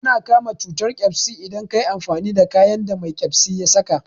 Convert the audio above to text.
Ana kama cutar ƙyasbi idan kayi amfani da kayan da mai ƙyasbi ya saka